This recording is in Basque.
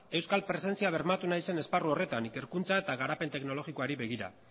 euskal presentzia bermatu nahi zen esparru horretan ikerkuntza eta garapen teknologikoari begira